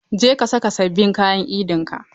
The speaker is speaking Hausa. Je ka saka sabbin kayan Idin ka!